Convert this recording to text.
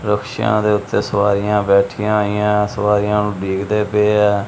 ਰਕਸ਼ਿਆਂ ਦੇ ਉੱਤੇ ਸਵਾਰੀਆਂ ਬੈਠੀਆਂ ਹੋਈਆਂ ਸਵਾਰੀਆਂ ਨੂੰ ਉਡੀਕਦੇ ਪਏ ਆ।